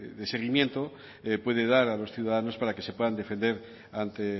de seguimiento puede dar a los ciudadanos para que se puedan defender ante